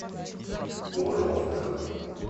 горловка